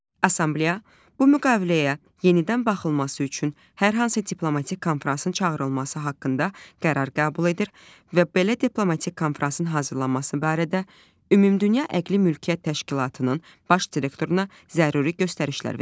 Assambleya bu müqaviləyə yenidən baxılması üçün hər hansı diplomatik konfransın çağırılması haqqında qərar qəbul edir və belə diplomatik konfransın hazırlanması barədə Ümumdünya Əqli Mülkiyyət Təşkilatının baş direktoruna zəruri göstərişlər verir.